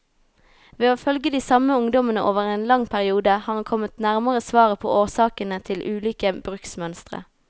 Ved å følge de samme ungdommene over en så lang periode, har han kommet nærmere svaret på årsakene til ulike bruksmønstre.